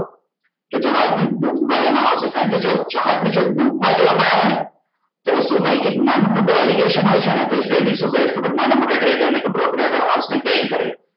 કે જહાજ ને ડૂબવા દેવા માં આવશે કારણ કે જો જહાજ ને જો ડૂબવા દેવા માં આવે ને તો એ જે નાનું મોટું migration હોય છે ને તો એ treaty શું કરે ખબર છે કે નાના મોટા treader ને કે brokerer house ને train કરે છે